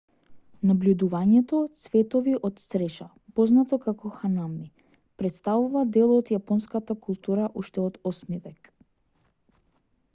набљудувањето цветови од цреша познато како ханами претставува дел од јапонската култура уште од 8 век